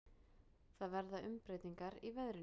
Það verða umbreytingar í veðrinu.